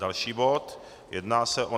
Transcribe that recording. Další bod, jedná se o